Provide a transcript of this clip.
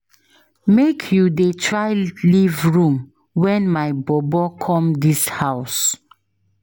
Make you dey try leave room wen my bobo come dis house.